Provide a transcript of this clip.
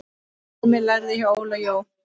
Heimir lærði hjá Óla Jó.